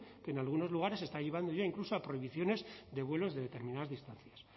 que en algunos lugares está llevando ya incluso a prohibiciones de vuelos de determinadas distancias